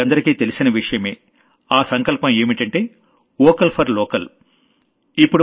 మీకందరికీ తెలిసిన విషయమే ఆ సంకల్పం ఏంటంటే వోకల్ ఫోర్ లోకల్ అనే సంకల్పం